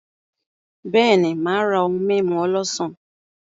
Beeni, Maa ra ohun mimu olosan.